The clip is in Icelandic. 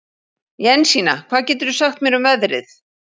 Jensína, hvað geturðu sagt mér um veðrið?